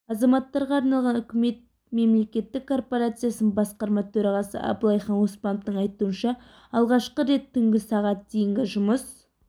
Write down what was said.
азаматтарға арналған үкімет мемлекеттік корпорациясының басқарма төрағасы абылайхан оспановтың айтуынша алғашқы рет түнгі сағат дейінгі жұмыс